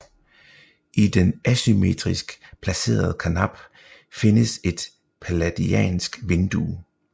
I den asymmetrisk placerede karnap findes et palladiansk vindue